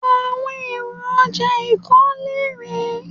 Àwọn èrò ọjà ìkólé rèé.